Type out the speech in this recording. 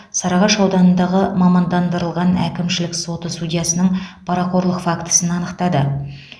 сарыағаш ауданындағы мамандандырылған әкімшілік соты судьясының парақорлық фактісін анықтады